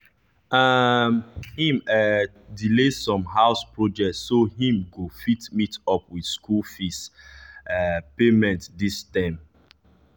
um him um delay some house project so him go fit meet up with school fees um payment diz term